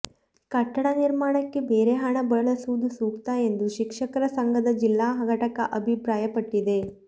ಕಟ್ಟಡ ನಿರ್ಮಾಣಕ್ಕೆ ಬೇರೆ ಹಣ ಬಳಸುವುದು ಸೂಕ್ತ ಎಂದು ಶಿಕ್ಷಕರ ಸಂಘದ ಜಿಲ್ಲಾ ಘಟಕ ಅಭಿಪ್ರಾಯಪಟ್ಟಿದೆ